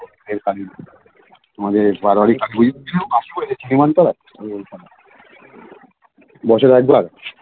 তোমাদের বারবারই সীমান্ত দশে একবার